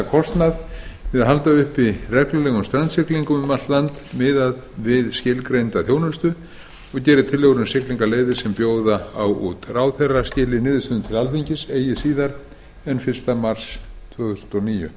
kostnað við að halda uppi reglulegum strandsiglingum um allt land miðað við skilgreinda þjónustu og geri tillögur um siglingaleiðir sem bjóða á út ráðherra skili niðurstöðum til alþingis eigi síðar en fyrsta mars tvö þúsund og níu